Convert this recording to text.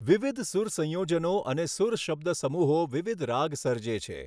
વિવિધ સૂર સંયોજનો અને સૂર શબ્દસમૂહો વિવિધ રાગ સર્જે છે.